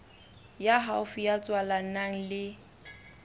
ya haufi ya tswalanang le